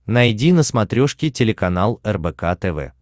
найди на смотрешке телеканал рбк тв